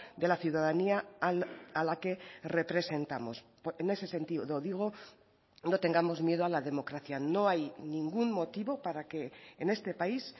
de la ciudadanía a la que representamos en ese sentido digo no tengamos miedo a la democracia no hay ningún motivo para que en este país